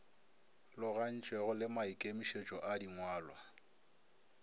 logagantšwego le maikemietšo a dingwalwa